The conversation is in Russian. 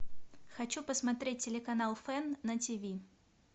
хочу посмотреть телеканал фэн на тв